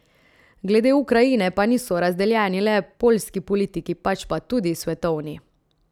Glede Ukrajine pa niso razdeljeni le poljski politiki, pač pa tudi svetovni.